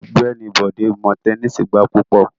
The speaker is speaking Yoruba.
Ọgbẹni Bode mo tẹnisi gba pupọ